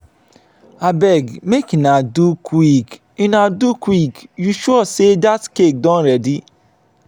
abeg make una do quick una do quick you sure say dat cake don ready?